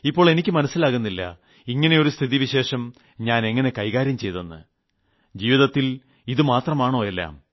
ഇപ്പോൾ എനിക്ക് മനസിലാകുന്നില്ല ഇങ്ങനെയൊരു സ്ഥിതിവിശേഷം ഞാനെങ്ങനെ കൈകാര്യം ചെയ്യുമെന്ന് ജീവിതത്തിൽ ഇത് മാത്രമാണോ എല്ലാം